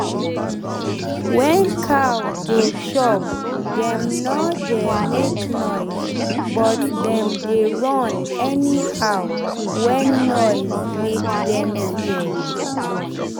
wen cow dey chop dem nor dey make noise but dem dey run anyhow wen noise make dem fear.